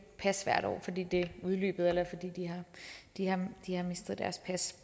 pas fordi det gamle udløbet eller fordi de har mistet deres pas